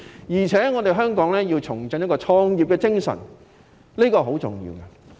而且，香港也要重振創業的精神，這是很重要的。